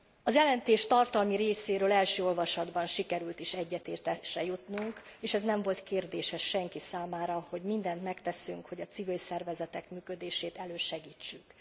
A jelentés tartalmi részéről első olvasatban sikerült is egyetértésre jutnunk, és az nem volt kérdéses senki számára, hogy mindent megteszünk, hogy a civil szervezetek működését elősegítsük.